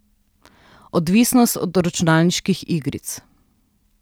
Odvisnost od računalniških igric.